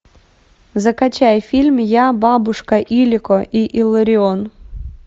закачай фильм я бабушка илико и илларион